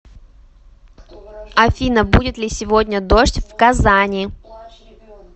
афина будет ли сегодня дождь в казани